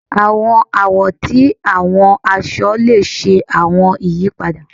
Àwọn àwo ti àwọn aṣọ le ṣe àwọn ìyípadà